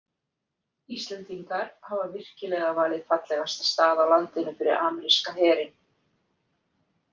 Íslendingar hafa virkilega valið fallegasta stað á landinu fyrir ameríska herinn.